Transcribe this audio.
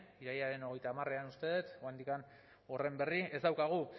irailaren hogeita hamarean uste dut oraindik horren berri ez daukagu